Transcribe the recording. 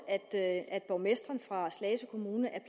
at borgmesteren i slagelse kommune